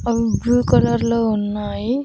అవి blue colour లో ఉన్నాయి.